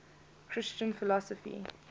christian philosophy